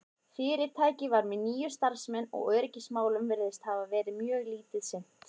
fyrirtækið var með níu starfsmenn og öryggismálum virðist hafa verið mjög lítið sinnt